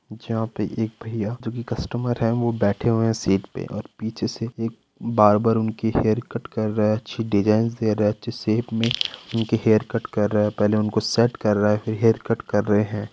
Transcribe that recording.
जहाँ पे एक भइया जो कि कस्टमर है वो बैठे हुए है सीट पे और पीछे से एक बार्बर उनकी हेयर कट कर रहा है अच्छी डिज़ाइनस दे रहा है अच्छे शेप मे उनकी हेयर कट कर रहा है पहले उनको सेट कर रहा है फिर हेयर कट कर रहे है।